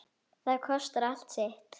Það kostar allt sitt.